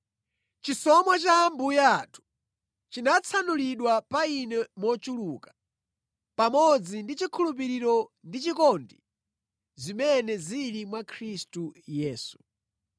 Chisomo cha Ambuye athu chinatsanulidwa pa ine mochuluka, pamodzi ndi chikhulupiriro ndi chikondi zimene zili mwa Khristu Yesu.